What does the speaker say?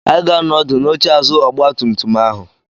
Anyị ga-anọ ọdụ n'oche azụ ọgba tum tum ahụ.